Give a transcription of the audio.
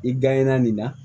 I nin na